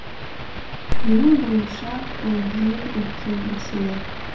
менің ойымша бұл ең үлкен мәселе